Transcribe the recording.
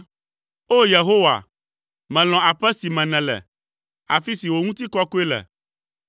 O! Yehowa, melɔ̃ aƒe si me nèle, afi si wò ŋutikɔkɔe le.